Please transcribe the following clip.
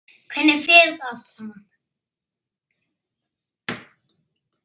Hvernig fer þetta allt saman?